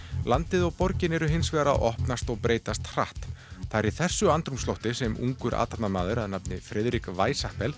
landið og borgin eru hins vegar að opnast og breytast hratt það er í þessu andrúmslofti sem ungur athafnamaður að nafni Friðrik